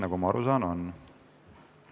Nagu ma aru saan, on.